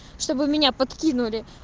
чтобы меня подкинули